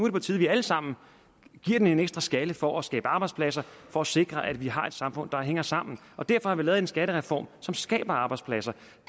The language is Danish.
er på tide vi alle sammen giver den en ekstra skalle for at skabe arbejdspladser for at sikre at vi har et samfund der hænger sammen derfor har vi lavet en skattereform som skaber arbejdspladser